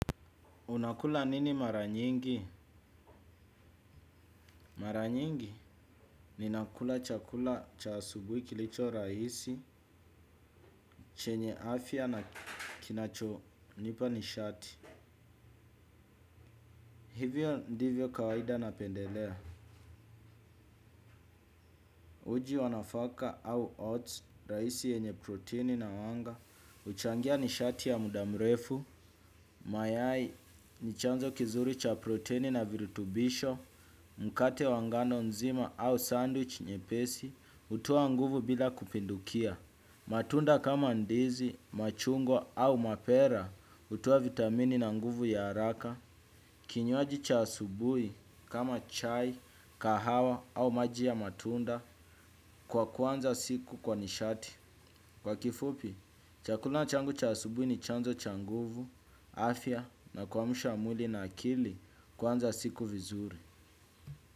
Unakula nini mara nyingi? Mara nyingi ninakula chakula cha asubui kilicho rahisi, chenye afya na kinachonipa nishati. Hivyo ndivyo kawaida napendelea. Uji wanafaka au oats, rahisi yenye protini na wanga. Uchangia nishati ya mudamrefu. Mayai nichanzo kizuri cha protini na virutubisho. Mkate wangano nzima au sandwich nyepesi. Kutowa nguvu bila kupindukia. Matunda kama ndizi, machungwa au mapera hutowa vitamini na nguvu ya haraka. Kinywaji cha asubui kama chai, kahawa au maji ya matunda kwa kuanza siku kwa nishati. Kwa kifupi, chakula changu cha asubui nichanzo cha nguvu, afya na kuamsha mwili na akili kuanza siku vizuri.